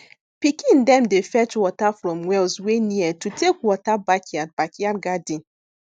pikin dem dey fetch water from wells wey near to take water backyard backyard garden